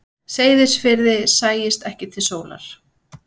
Seyðisfirði sæist ekki til sólar.